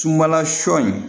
Sunbala sɔ in